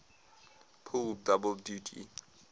pull double duty